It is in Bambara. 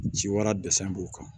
Ci wɛrɛ dɛsɛ b'u kan